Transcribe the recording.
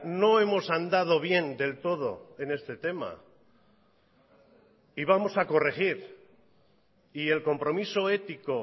no hemos andado bien del todo en este tema y vamos a corregir y el compromiso ético